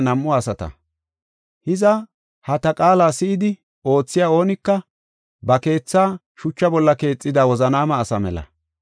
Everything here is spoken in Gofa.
“Hiza, ha ta qaala si7idi oothiya oonika ba keethaa shucha bolla keexida wozanaama asa mela.